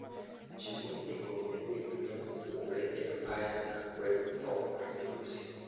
Ji mohingo 300 ne opukore e apaya kaa kwedo thoo mar migosi.